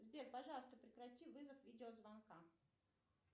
сбер пожалуйста прекрати вызов видео звонка